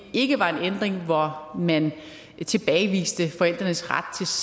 ikke var en ændring hvor man tilbageviste forældrenes ret